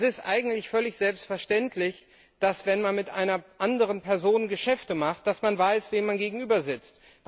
Es ist eigentlich völlig selbstverständlich, dass man, wenn man mit einer anderen Person Geschäfte macht, weiß, wem man gegenübersitzt.